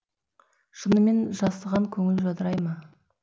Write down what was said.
шынымен жасыған көңіл жадырай ма